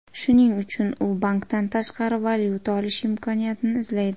Shuning uchun u bankdan tashqari valyuta olish imkoniyatini izlaydi.